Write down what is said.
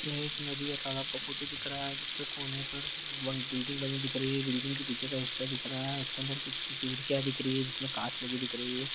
यह एक नदी या तलाब का फोटो दिख रहा है जिसके कोने पर वह बिल्डिंग बनी दिख रही है बिल्डिंग के पीछे का हिस्सा दिख रहा है उसके अंदर कुछ की चीज क्या दिख रही है जिसमें कांच लगी दिख रही है।